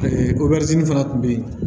fana tun bɛ yen